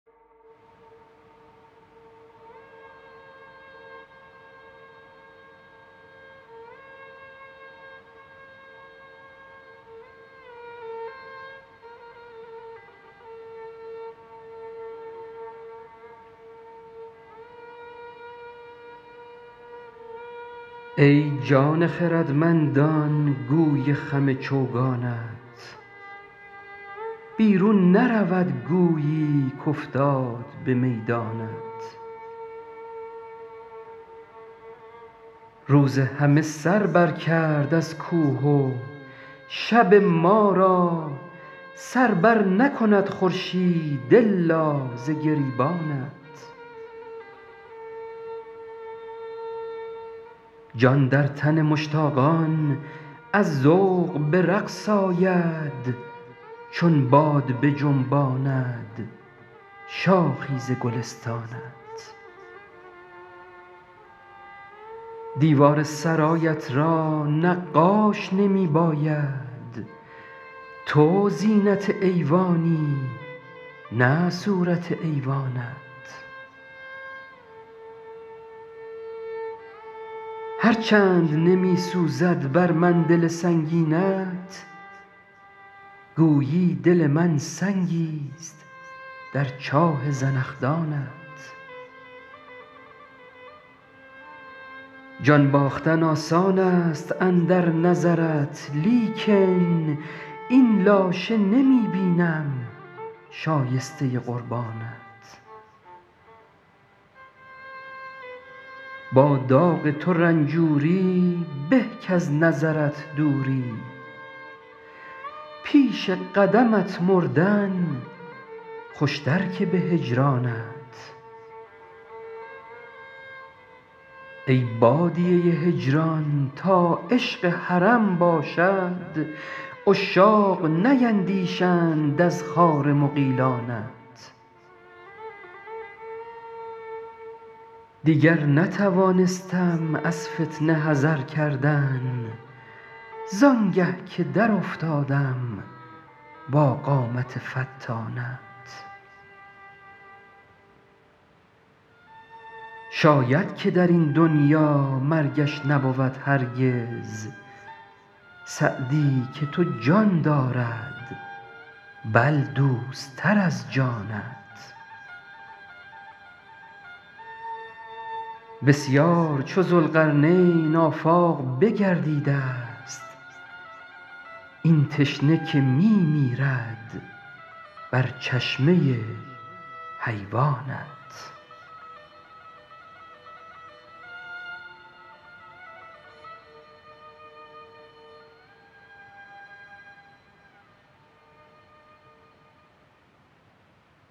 ای جان خردمندان گوی خم چوگانت بیرون نرود گویی کافتاد به میدانت روز همه سر بر کرد از کوه و شب ما را سر بر نکند خورشید الا ز گریبانت جان در تن مشتاقان از ذوق به رقص آید چون باد بجنباند شاخی ز گلستانت دیوار سرایت را نقاش نمی باید تو زینت ایوانی نه صورت ایوانت هر چند نمی سوزد بر من دل سنگینت گویی دل من سنگیست در چاه زنخدانت جان باختن آسان است اندر نظرت لیکن این لاشه نمی بینم شایسته قربانت با داغ تو رنجوری به کز نظرت دوری پیش قدمت مردن خوشتر که به هجرانت ای بادیه هجران تا عشق حرم باشد عشاق نیندیشند از خار مغیلانت دیگر نتوانستم از فتنه حذر کردن زآنگه که در افتادم با قامت فتانت شاید که در این دنیا مرگش نبود هرگز سعدی که تو جان دارد بل دوست تر از جانت بسیار چو ذوالقرنین آفاق بگردیده ست این تشنه که می میرد بر چشمه حیوانت